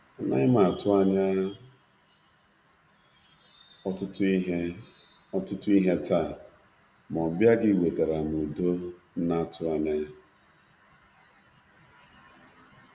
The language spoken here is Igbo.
Anaghị m Anaghị m atụ anya ihe ọbula n'ubọchi ta, mana nleta gị wetara udo atụghị anya ya.